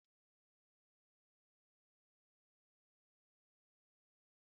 A na m echeta otu nne nne m siri á gwa anyị njakịrị